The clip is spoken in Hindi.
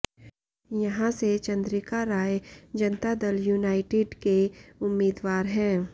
यहां से चंद्रिका राय जनता दल यूनाइटेड के उम्मीदवार हैं